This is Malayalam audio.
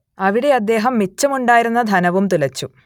അവിടെ അദ്ദേഹം മിച്ചമുണ്ടായിരുന്ന ധനവും തുലച്ചു